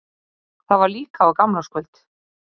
Það var líka á gamlárskvöldi.